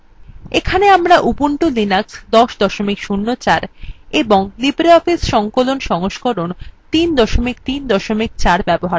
এখানে আমরা Ubuntu Linux ১০ ০৪ এবং libreoffice সংকলন সংস্করণ ৩ ৩ ৪ ব্যবহার করছি